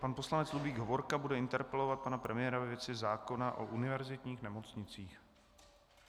Pan poslanec Ludvík Hovorka bude interpelovat pana premiéra ve věci zákona o univerzitních nemocnicích.